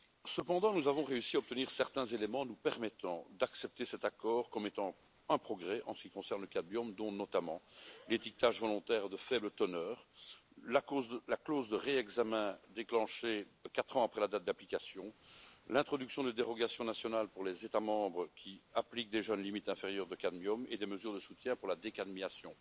Cependant, nous avons réussi à obtenir certains éléments nous permettant d'accepter cet accord comme étant un progrès en ce qui concerne le cadmium, dont notamment l'étiquetage volontaire de faible teneur, la clause de réexamen déclenchée quatre ans après la date d'application, l'introduction de dérogations nationales pour les États membres qui appliquent déjà la limite inférieure de cadmium et des mesures de soutien pour la décadmiation.